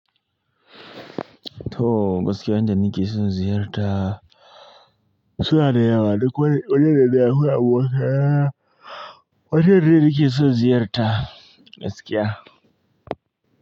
To, gaskiya inda ni keson ziyarta. Su na da yawa duk wani, wane da ya koya boka. Wajen ne nake son ziyarta gaskiya.